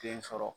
Den sɔrɔ